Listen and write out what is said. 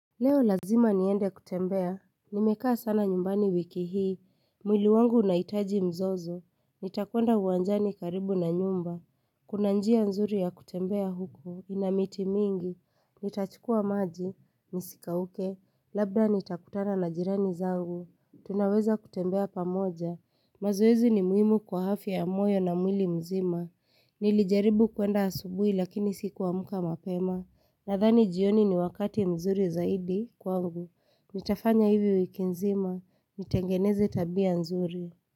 Leo lazima niende kutembea, nimekaa sana nyumbani wiki hii, mwili wangu unahitaji mzozo, nitakwenda uwanjani karibu na nyumba, kuna njia nzuri ya kutembea huku, ina miti mingi, nitachukua maji, nisikauke, labda nitakutana na jirani zangu, tunaweza kutembea pamoja, mazoezi ni muhimu kwa afya ya moyo na mwili mzima, nilijaribu kwenda asubuhi lakini sikuamka mapema, Nadhani jioni ni wakati mzuri zaidi kwangu, nitafanya hivi wiki nzima, nitengeneze tabia nzuri.